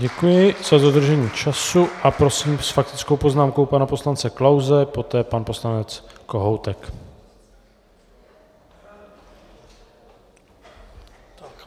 Děkuji za dodržení času a prosím s faktickou poznámkou pana poslance Klause, poté pan poslanec Kohoutek.